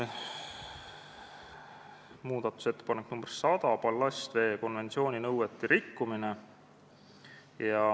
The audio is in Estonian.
Muudatusettepanek nr 100, ballastveekonventsiooni nõuete rikkumine.